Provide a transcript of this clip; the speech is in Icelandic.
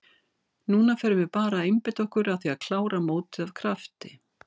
Núna förum við bara að einbeita okkur að því að klára mótið af krafti.